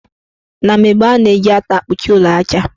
Na mgbe gboo, ana-eji ata akpuchi ụlọ aja.